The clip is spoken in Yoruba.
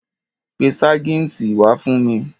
Pe ságìǹtì wá fún mi.